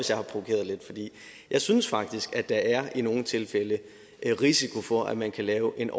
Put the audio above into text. jeg synes faktisk at der i nogle tilfælde er en risiko for at man kan lave en